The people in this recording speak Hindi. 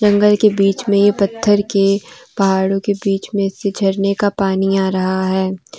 जंगल के बीच में पत्थर के पहाड़ों के बीच में से झरने का पानी आ रहा है।